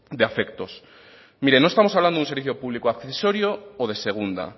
de afectos mire no estamos hablando de un servicio público accesorio o de segunda